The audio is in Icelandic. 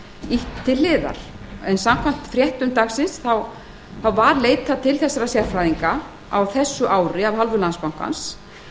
ýtt til hliðar samkvæmt fréttum dagsins var leitað til þessara sérfræðinga á þessu ári af hálfu landsbankans